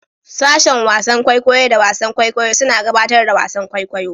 Sashen wasan kwaikwayo da wasan kwaikwayo suna gabatar da wasan kwaikwayo.